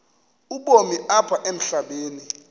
ubomi apha emhlabeni